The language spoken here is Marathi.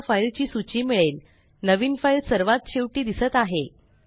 आपल्याला फाइल ची सूची मिळेल नवीन फाइल सर्वात शेवटी दिसत आहे